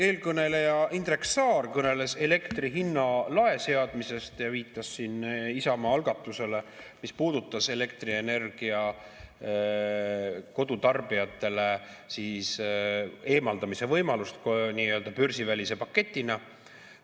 Eelkõneleja Indrek Saar kõneles elektri hinna lae seadmisest ja viitas Isamaa algatusele, mis puudutas elektrienergia kodutarbijatele antavat võimalust.